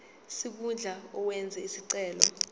sikhundla owenze isicelo